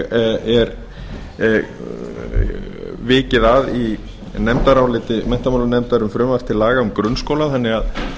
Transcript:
einnig er vikið að í nefndaráliti menntamálanefndar um frumvarp til laga um grunnskólann þannig að